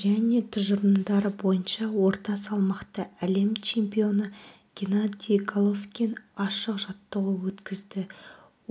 және тұжырымдары бойынша орта салмақта әлем чемпионы геннадий головкин ашық жаттығу өткізді